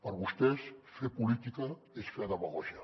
per vostès fer política és fer demagògia